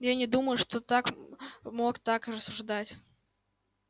но я не думаю что так мог так рассуждать